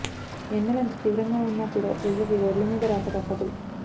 ఎండలు ఎంత తీవ్రంగా ఉన్నా కూడా ప్రజలకి రోడ్ల మీద రాక తప్పదు